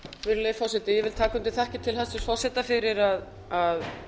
virðulegi forseti ég tek undir þakkir til hæstvirts forseta fyrir að